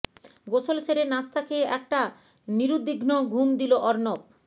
গোসল সেরে নাশতা খেয়ে একটা নিরুদ্বিঘ্ন ঘুম দিল অর্ণব